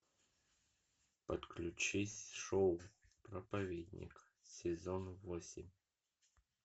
подключись шоу проповедник сезон восемь